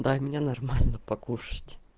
дай мне нормально покушать